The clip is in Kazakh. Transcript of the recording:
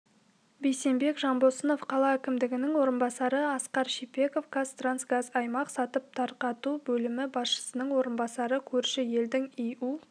бейсенбек жанбосынов қала әкімінің орынбасары асқар шипеков қазтрансгазаймақ сатып тарқату бөлімі басшысының орынбасары көрші елдің иу